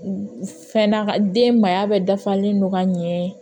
Fɛn na den maaya bɛɛ dafalen don ka ɲɛ